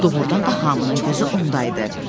Doğrudan da hamının gözü onda idi.